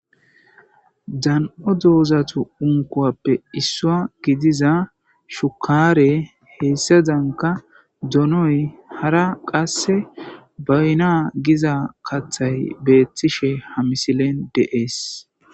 dan7o doozatu unkuwappe issua gidiza shukaare heyssa zanka donoy hara qasse bayna giza kathay beethtishe ha misilen deees